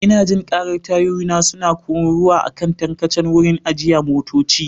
Ina jin karar tayoyina suna kururuwa a kan tarkacen wurin ajiye motoci.